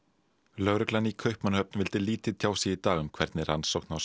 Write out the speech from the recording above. lögreglan í Kaupmannahöfn vildi lítið tjá sig í dag um hvernig rannsókn á